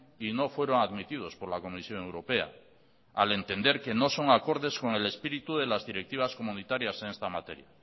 y no fueron admitidos por la comisión europea al entender que no son acordes con el espíritu de las directivas comunitarias en esta materia